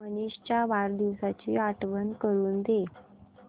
मनीष च्या वाढदिवसाची आठवण करून दे